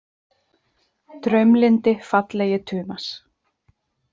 Draumlyndi, fallegi Tumas.